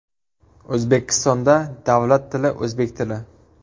O‘zbekistonda davlat tili o‘zbek tili.